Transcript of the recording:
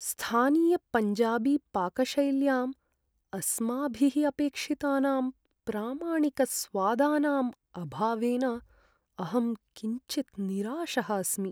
स्थानीयपञ्जाबीपाकशैल्याम् अस्माभिः अपेक्षितानां प्रामाणिकस्वादानाम् अभावेन अहं किञ्चित् निराशः अस्मि।